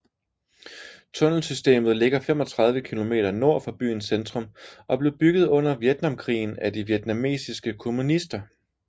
Tunnelsystemet ligger 35 km nord for byens centrum og blev bygget under Vietnamkrigen af de vietnamesiske kommunister